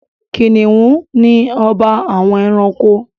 Kìnìnú ni ọba àwọn ẹranko.